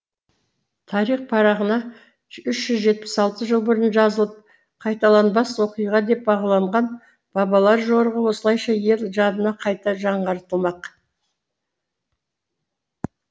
тарих парағына үш жүз отыз алты жыл бұрын жазылып қайталанбас оқиға деп бағаланған бабалар жорығы осылайша ел жадында қайта жаңғыртылмақ